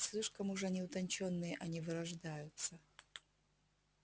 слишком уж они утончённые они вырождаются